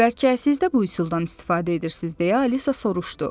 Bəlkə siz də bu üsuldan istifadə edirsiz deyə Alisa soruşdu.